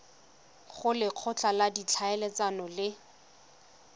go lekgotla la ditlhaeletsano le